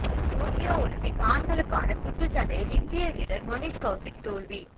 Tokyo Olympic ஆண்களுக்கான குத்துச்சண்டையில் இந்திய வீரர் மணிஷ் கவுசிக் தோல்வி